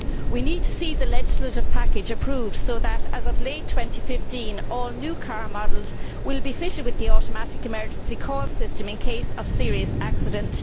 We need to see the legislative package approved, so that as of late 2015 all new car models will be fitted with the automatic emergency call system in case of serious accident.